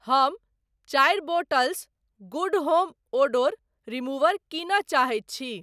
हम चारि bottles good home odour remover कीनय चाहैत छी।